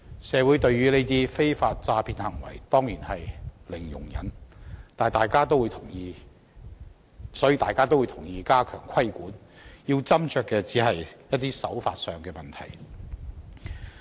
社會對於這種非法詐騙行為當然零容忍，所以大家也同意需要加強規管，要斟酌的只是手法問題。